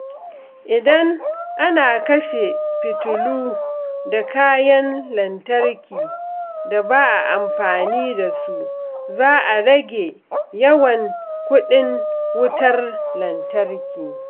Idan ana kashe fitilu da kayan lantarki da ba a amfani da su, za a rage yawan kuɗin wutar lantarki.